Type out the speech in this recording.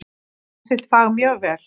Kann sitt fag mjög vel.